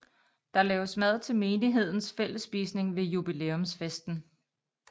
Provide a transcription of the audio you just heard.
Der laves mad til menighedens fællesspisning ved jubilæumsfesten